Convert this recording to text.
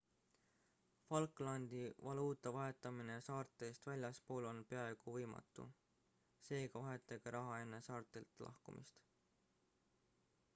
falklandi valuuta vahetamine saartest väljaspool on peaaegu võimatu seega vahetage raha enne saartelt lahkumist